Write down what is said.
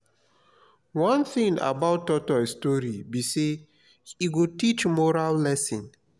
one thing about tortoise story be say e go teach moral lesson